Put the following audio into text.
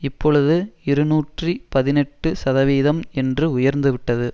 இப்பொழுது இருநூற்றி பதினெட்டு சதவீதம் என்று உயர்ந்துவிட்டது